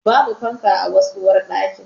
Babu fanka a wasu uwarɗaki.